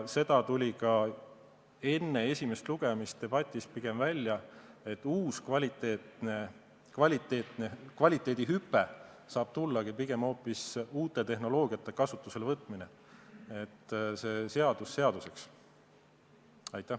See tuli ka enne esimest lugemist debatist välja, et seadus seaduseks, uus kvaliteedihüpe saab tulla pigem hoopis uute tehnoloogiate kasutusele võtmisest.